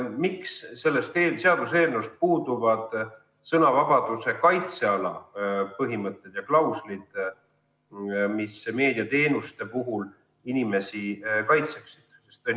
Miks selles seaduseelnõus puuduvad sõnavabaduse kaitseala põhimõtted ja klauslid, mis meediateenuste puhul inimesi kaitseksid?